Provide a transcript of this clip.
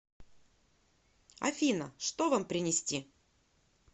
афина что вам принести